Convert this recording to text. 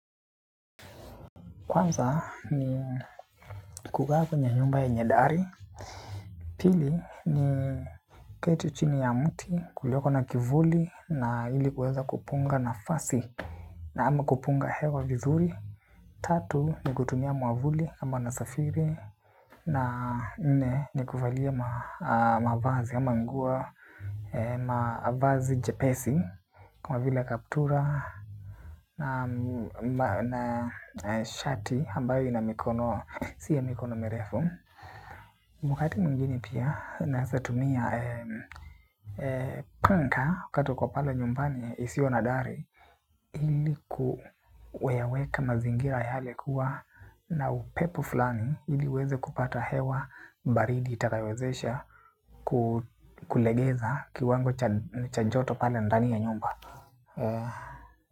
Kwanza ni kukaa kwenye nyumba yenye dari. Pili ni keti chini ya mti kulioko na kivuli na ili kuweza kupunga nafasi na ama kupunga hewa vizuri. Tatu ni kutumia mwavuli kama nasafiri na nne ni kuvalia mavazi ama nguo mavazi jepesi kama vile kaptura na shati ambayo inamikono si bya mikono merefu. Wakati mwingine pia, naesa tumia punka wakati uko pale nyumbani isiyo na dari. Hili kuyaweka mazingira yale kuwa na upepo fulani ili uweze kupata hewa baridi itakayowezesha kulegeza kiwango cha joto pale ndani ya nyumba.